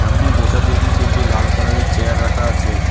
সামনে বসার জন্য তিনটি লাল কালার -এর চেয়ার রাখা আছে।